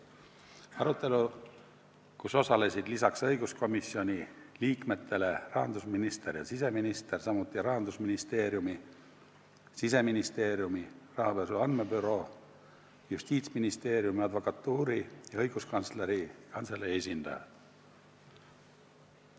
Arutelul osalesid lisaks õiguskomisjoni liikmetele rahandusminister ja siseminister, samuti Rahandusministeeriumi, Siseministeeriumi, rahapesu andmebüroo, Justiitsministeeriumi, Eesti Advokatuuri ja Õiguskantsleri Kantselei esindajad.